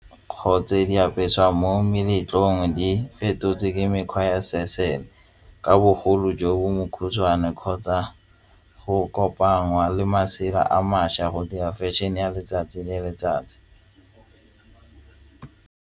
Go tse di apesiwang mo meletlong di fetotse ke mekgwa ya ka bogolo jo bo mokhutswane kgotsa go kopangwa le masela a mašwa go di fashion-e ya letsatsi le letsatsi.